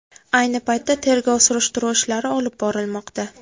Ayni paytda tergov surishtiruv ishlari olib borilmoqda.